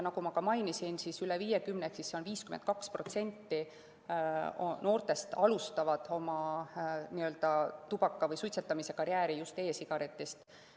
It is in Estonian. Nagu ma ka mainisin, üle 50% ehk 52% noortest alustavad oma tubakatarvitamise või suitsetamise karjääri just e‑sigaretist.